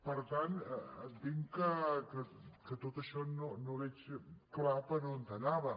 per tant entenc que tot això no veig clar per on anava